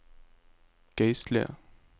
geistlige